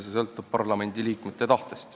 See sõltub parlamendiliikmete tahtest.